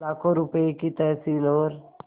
लाखों रुपये की तहसील और